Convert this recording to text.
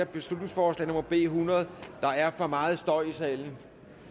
beslutningsforslag nummer b hundrede der er for meget støj i salen